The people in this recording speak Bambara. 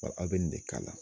a wbɛ nin de k'a la.